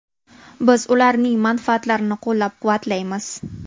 Biz ularning manfaatlarini qo‘llab-quvvatlaymiz.